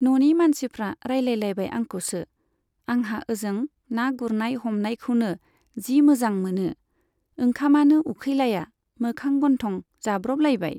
न'नि मानसिफ्रा रायलायलायबाय आंखौसो। आंहा ओजों ना गुरनाय हमनायखौनो जि मोजां मोनो। ओंखामानो उखैलाया मोखां गन्थं जाब्रबलायबाय।